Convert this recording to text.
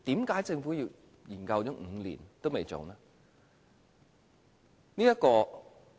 為何政府研究了5年還未做呢？